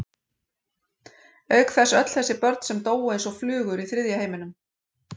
Auk þess öll þessi börn sem dóu eins og flugur í þriðja heiminum.